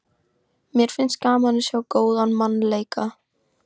Mér finnst gaman að sjá góðan mann leika.